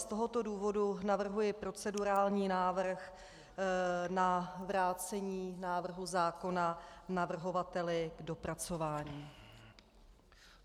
Z tohoto důvodu navrhuji procedurální návrh na vrácení návrhu zákona navrhovateli k dopracování.